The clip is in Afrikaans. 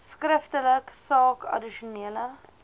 skriftelik saak addisionele